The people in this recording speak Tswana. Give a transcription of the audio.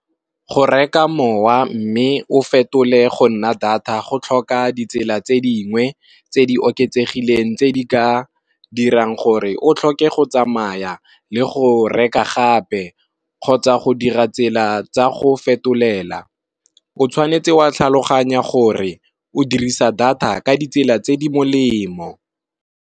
Go reka mowa mme o fetole go nna data go tlhoka ditsela tse dingwe tse di oketsegileng tse di ka dirang gore o tlhoke go tsamaya, le go reka gape kgotsa go dira tsela tsa go fetolela. O tshwanetse wa tlhaloganya gore o dirisa data ka ditsela tse di molemo.